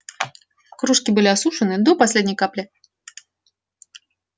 кружки были осушены до последней капли